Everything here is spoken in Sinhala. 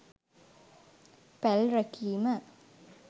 පැල් රැකීම